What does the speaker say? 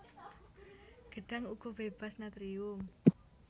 Gedhang uga bébas natrium